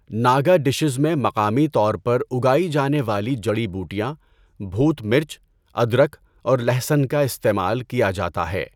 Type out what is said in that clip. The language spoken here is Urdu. ناگا ڈشز میں مقامی طور پر اگائی جانے والی جڑی بوٹیاں، بھوت مرچ، ادرک اور لہسن کا استعمال کیا جاتا ہے۔